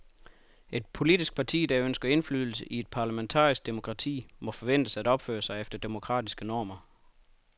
Et politisk parti, der ønsker indflydelse i et parlamentarisk demokrati, må forventes at opføre sig efter demokratiske normer.